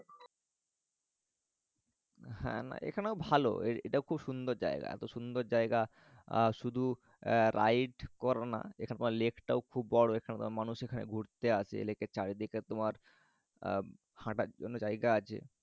হ্যা না এখানেও ভালো এটাও খুব সুন্দর জায়গা। এত সুন্দর জায়গা আহ শুধু ride করোনা। এখানের lake টাও খুব বড় এখানে মানুষ এখানে ঘুরতে আসে। লেকের চারিদিকে এখানে তোমার হাতার জন্য জায়গা আছে।